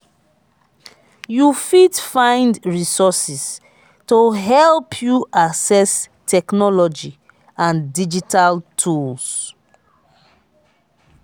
you fit find resources to help you access technology and digital tools.